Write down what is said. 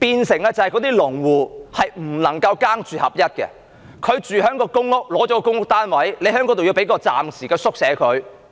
這樣令那些農戶不能"耕住合一"，農戶得到一個公屋單位居住，在田那裏又要有一個暫時的宿舍，